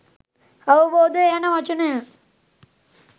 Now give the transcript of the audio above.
අවබෝධය යන වචනය